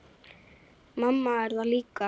Mamma er þar líka.